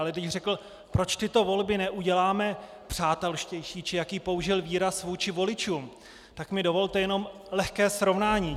Ale když řekl, proč tyto volby neuděláme přátelštější, či jaký použil výraz, vůči voličům, tak mi dovolte jenom lehké srovnání.